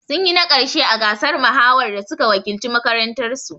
Sun yi na ƙarshe a gasar mahawar da suka wakilci makarantar su